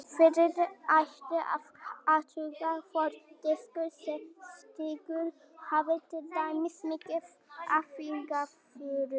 Fyrst ætti að athuga hvort diskurinn sé skítugur, hafi til dæmis mikið af fingraförum.